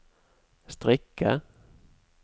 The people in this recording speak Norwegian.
strikke